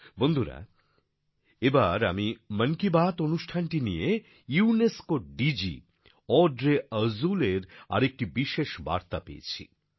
বন্ধুরা এবার আমি মন কি বাত অনুষ্ঠানটি নিয়ে ইউনেস্কোর ডিজি অড্রে আজুলের আরেকটি বিশেষ বার্তা পেয়েছি